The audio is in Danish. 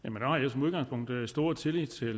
som udgangspunkt stor tillid til